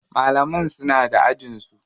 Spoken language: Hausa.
Malaman suna da ajin su.